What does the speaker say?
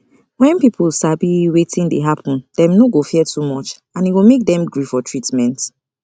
when people sabi wetin dey happen dem no go fear too much and e go make dem gree for treatment